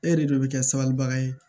E de bɛ kɛ sabalibaga ye